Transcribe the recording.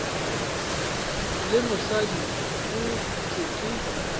le mosadi go thwe ke